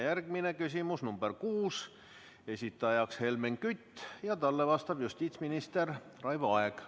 Järgmine küsimus on nr 6, esitajaks Helmen Kütt ja talle vastab justiitsminister Raivo Aeg.